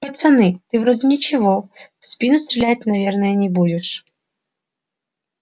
пацаны ты вроде ничего в спину стрелять наверное не будешь